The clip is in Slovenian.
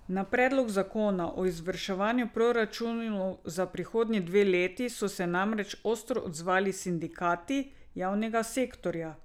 Na predlog zakona o izvrševanju proračunov za prihodnji dve leti so se namreč ostro odzvali sindikati javnega sektorja.